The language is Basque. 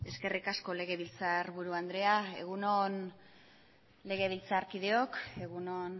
eskerrik asko legebiltzarburu andrea egun on legebiltzarkideok egun on